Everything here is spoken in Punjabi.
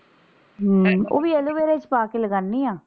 ਹਮ ਉਹ ਵੀ aloe vera ਚ ਪਾ ਕੇ ਲਗਾਂਨੀ ਆ।